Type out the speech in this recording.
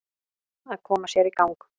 Að koma sér í gang